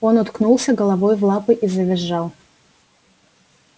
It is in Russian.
он уткнулся головой в лапы и завизжал